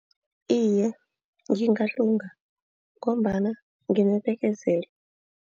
Iye ngingalunga ngombana nginebekezelo.